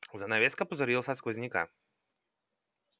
занавеска пузырилась от сквозняка